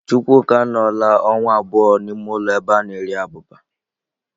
Chukwuka anọọla ọnwa abụọ n'ime ụlọ ebe a na-eri abụba.